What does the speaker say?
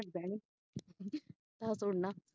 ਹਟ ਦਾ ਨਹੀਂ ਤਾਂ ਸੁਣ ਨਾ